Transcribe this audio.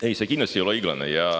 Ei, see kindlasti ei ole õiglane.